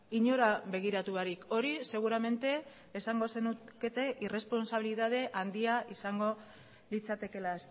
inora begiratu barik hori seguramente esango zenukete irresponsabillitate handia izango litzatekeela